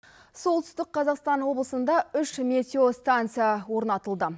солтүстік қазақстан облысында үш метео станция орнатылды